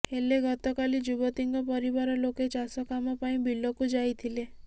ହେଲେ ଗତକାଲି ଯୁବତୀଙ୍କ ପରିବାର ଲୋକେ ଚାଷ କାମ ପାଇଁ ବିଲକୁ ଯାଇଥିଲେ